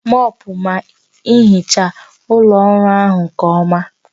Mọọpụọ ma hichaa ụlọ ọrụ ahụ nke ọma